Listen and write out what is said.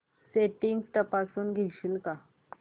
settings तपासून घेशील का